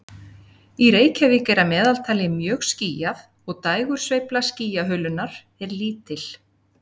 Í Reykjavík er að meðaltali mjög skýjað og dægursveifla skýjahulunnar er lítil.